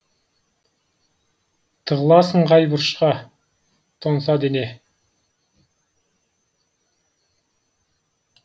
тығыласың қай бұрышқа тоңса дене